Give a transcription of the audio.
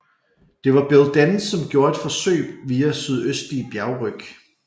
Det var Bill Denz som gjorde et forsøg via sydøstlige bjergryg